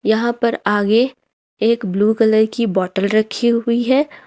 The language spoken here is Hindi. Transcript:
यहां पर आगे एक ब्लू कलर की बोतल रखी हुई है।